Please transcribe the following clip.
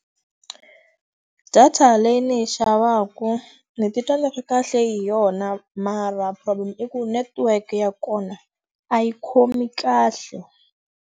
Data leyi ndzi yi xavaku, ni titwa ni ri kahle hi yona. Mara problem i ku network ya kona, a yi khomi kahle.